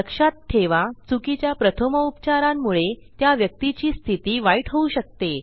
लक्षात ठेवा चुकीच्या प्रथमोपचारांमुळे त्या व्यक्तीची स्थिती वाईट होऊ शकते